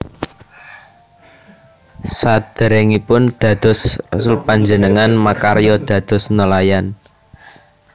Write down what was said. Sadèrèngipun dados rasul panjenengané makarya dados nelayan